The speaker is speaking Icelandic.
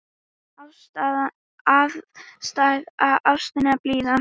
Æðsta ástin blíða!